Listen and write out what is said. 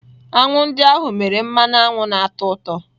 Aṅụ ndị ahụ mere mmanụ aṅụ na-atọ ụtọ.